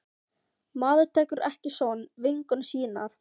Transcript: Maður tekur ekki son vinkonu sinnar.